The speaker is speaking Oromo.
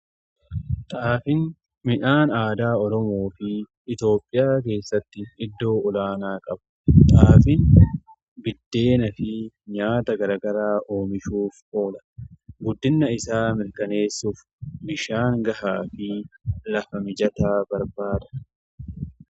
Xaafiin midhaan aadaa Oromoo fi Itoophiyaa keessatti iddoo olaanaa qabudha. Xaafin biddeenaa fi nyaata gara garaa oomishuuf oola. Guddina isaa mirkaneessuuf bishaan gahaa fi lafa mijataa barbaada.